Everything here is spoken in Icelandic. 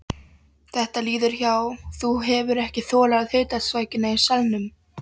Þetta líður hjá, þú hefur ekki þolað hitasvækjuna í salnum.